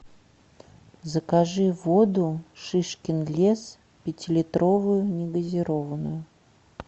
закажи воду шишкин лес пятилитровую негазированную